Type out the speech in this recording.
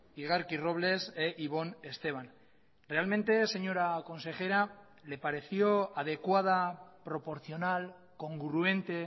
igarki robles e ibon esteban realmente señora consejera le pareció adecuada proporcional congruente